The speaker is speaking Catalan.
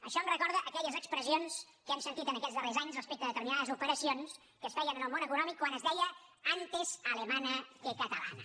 això em recorda aquelles expressions que hem sentit en aquests darrers anys respecte a determinades operacions que es feien en el món econòmic quan es deia antes alemana que catalana